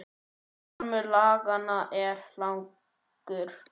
Armur laganna er langur